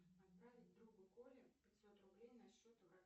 отправить другу коле пятьсот рублей на счет